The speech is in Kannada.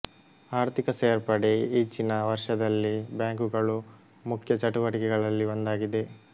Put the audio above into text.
ಆರ್ಥಿಕ ಸೇರ್ಪಡೆ ಈಚಿನ ವರ್ಷದಲ್ಲಿ ಬ್ಯಾಂಕುಗಳ ಮುಖ್ಯ ಚಟುವಟಿಕೆಗಳಲ್ಲಿ ಒಂದಾಗಿದೆ